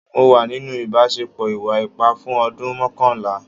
Mo wà nínú ìbáṣepọ̀ ìwà ipá fún ọdún mọ́kànlá.